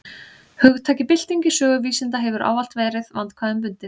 Hugtakið bylting í sögu vísinda hefur ávallt verið vandkvæðum bundið.